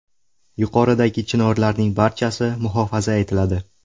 Yuqoridagi chinorlarning barchasi muhofaza etiladi.